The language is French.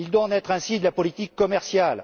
Il doit en être ainsi de la politique commerciale.